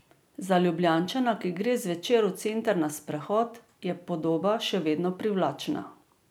Za Ljubljančana, ki gre zvečer v center na sprehod, je podoba še vedno privlačna.